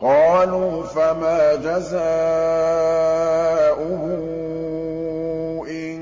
قَالُوا فَمَا جَزَاؤُهُ إِن